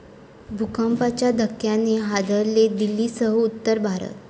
भूकंपाच्या धक्क्याने हादरले दिल्लीसह उत्तर भारत